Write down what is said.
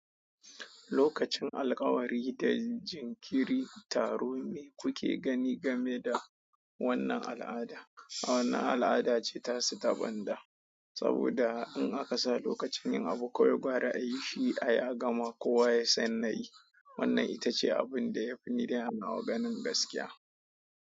Lokacin alkawari da jinkiri, taro me kuke gani game da wannan al'ada? Wannan al'ada ce ta su ta banda saboda in aka sa lokacin yin abu, kawai gwara a yi shi a ya gama, kowa ya san na yi. Wannan ita ce abin da ya fi ni dai a nawa ganin gaskiya.